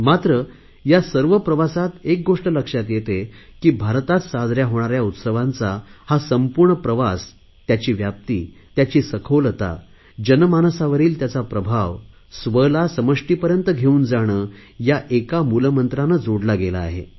मात्र या सर्व प्रवासात एक गोष्ट लक्षात येते की भारतात साजऱ्या होणाऱ्या उत्सवांचा हा संपूर्ण प्रवास त्याची व्याप्ती त्याची सखोलता जनमानसावरील त्याचा प्रभाव स्व ला समष्टीपर्यंत घेऊन जाणे या एका मूलमंत्राने जोडला गेला आहे